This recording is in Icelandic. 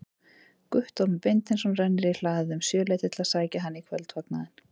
Guttormur Beinteinsson rennir í hlaðið um sjöleytið að sækja hann í kvöldfagnaðinn.